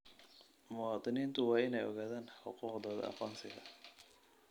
Muwaadiniintu waa inay ogaadaan xuquuqdooda aqoonsiga.